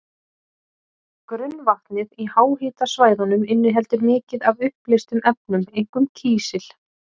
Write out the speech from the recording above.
Grunnvatnið í háhitasvæðunum inniheldur mikið af uppleystum efnum, einkum kísil.